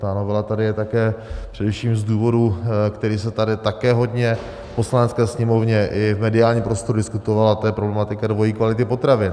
Ta novela tady je také především z důvodu, který se tady také hodně v Poslanecké sněmovně i v mediálním prostoru diskutoval, a to je problematika dvojí kvality potravin.